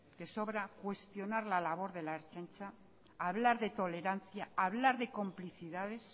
que sobra cuestionar la labor de la ertzaintza hablar de tolerancia hablar de complicidades